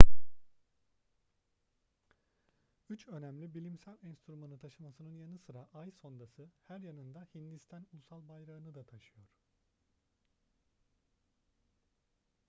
üç önemli bilimsel enstrümanı taşımasının yanı sıra ay sondası her yanında hindistan ulusal bayrağını da taşıyor